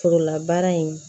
Forolabaara in